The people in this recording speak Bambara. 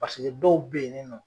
dɔw bɛ yininɔ.